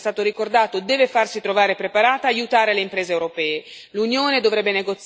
Quindi l'Europa, come è già stato ricordato, deve farsi trovare preparata e aiutare le imprese europee.